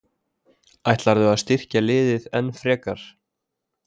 Ætlarðu að styrkja liðið enn frekar?